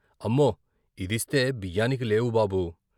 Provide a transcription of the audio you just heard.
అమ్మో! ఇదిస్తే బియ్యానికి లేవు బాబూ.